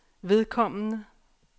vedkommende